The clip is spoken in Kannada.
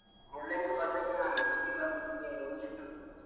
ಮೂಲಂಗಿ ,ಬದ್ನೇಕಾಯಿ ನನ್ಗ್ ಸಿಕ್ಕಿಲ್ಲ ನಿನ್ಗೆ ಎಲ್ಲಿ ಸಿಕ್ಕಿದ್ವು?